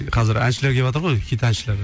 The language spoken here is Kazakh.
қазір әншілер кеватыр ғой хит әншілер